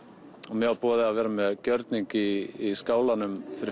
mér var boðið að vera með gjörning í skálanum fyrir